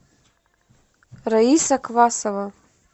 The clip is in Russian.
раиса квасова